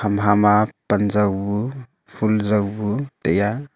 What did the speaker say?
ham ha ma pan jow bu fun jow bu taiya.